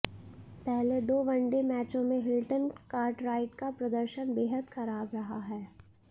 पहले दो वनडे मैचों में हिल्टन कार्टराइट का प्रदर्शन बेहद खराब रहा है